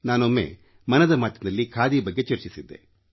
ನಾನೊಮ್ಮೆ ಮನದ ಮಾತಿನಲ್ಲಿ ಖಾದಿ ಬಗ್ಗೆ ಚರ್ಚಿಸಿದ್ದೆ